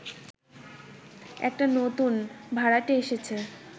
একটা নতুন ভাড়াটে এসেছে